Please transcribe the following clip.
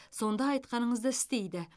сонда айтқаныңызды істейді